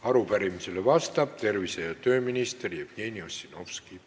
Arupärimisele vastab tervise- ja tööminister Jevgeni Ossinovski.